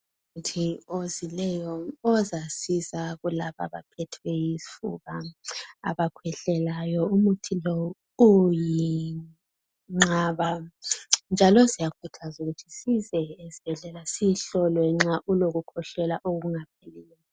Ngumuthi ozileyo ozasiza kulaba abaphethwe yizifuba, abakhwehlelayo. Umuthi lo uyinqaba njalo siyakhuthaza ukuthi size esibhedlela sihlolwe nxa ulokukhwehlela okungapheliyo.